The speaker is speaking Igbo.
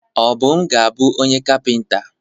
Obum ga-abu onye kapịnta.